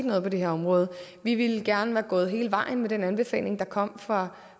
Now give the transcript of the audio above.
noget på det her område vi ville gerne være gået hele vejen med den anbefaling der kom fra